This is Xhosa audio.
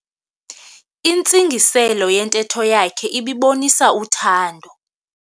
Intsingiselo yentetho yakhe ibibonisa uthando.